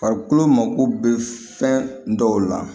Farikolo mako bɛ fɛn dɔw la